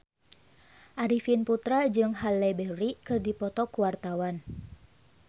Arifin Putra jeung Halle Berry keur dipoto ku wartawan